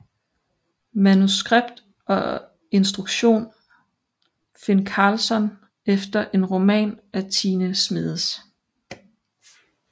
Manuskript og instruktion Finn Karlsson efter en roman af Tine Schmedes